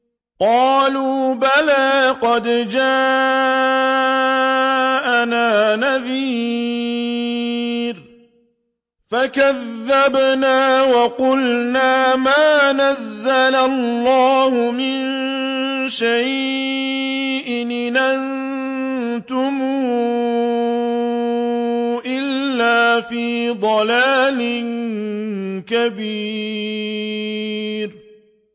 قَالُوا بَلَىٰ قَدْ جَاءَنَا نَذِيرٌ فَكَذَّبْنَا وَقُلْنَا مَا نَزَّلَ اللَّهُ مِن شَيْءٍ إِنْ أَنتُمْ إِلَّا فِي ضَلَالٍ كَبِيرٍ